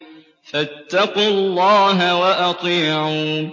فَاتَّقُوا اللَّهَ وَأَطِيعُونِ